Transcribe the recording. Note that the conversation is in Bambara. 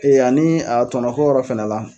ani a tɔnɔko yɔrɔ fana la.